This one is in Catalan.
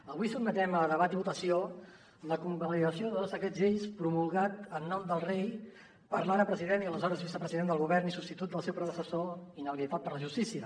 avui sotmetem a debat i votació la convalidació de dos decrets llei promulgats en nom del rei per l’ara president i aleshores vicepresident del govern i substitut del seu predecessor inhabilitat per la justícia